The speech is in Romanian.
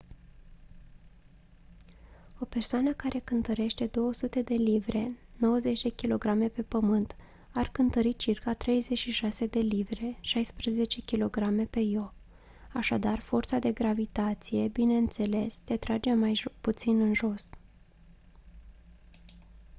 o persoană care cântărește 200 de livre 90 kg pe pământ ar cântări circa 36 de livre 16 kg pe io. așadar forța de gravitație bineînțeles te trage mai puțin în jos